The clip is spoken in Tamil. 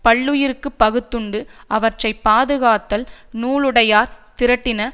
பல்லுயிர்க்கு பகுத்துண்டு அவற்றை பாதுகாத்தல் நூலுடையார் திரட்டின